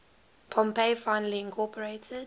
pompey finally incorporated